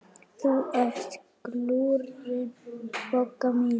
Þú ert glúrin, Bogga mín.